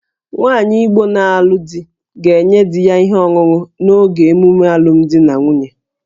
Nwaanyị Igbo na-alụ di ga-enye di ya ihe ọṅụṅụ n'oge emume alụmdi na nwunye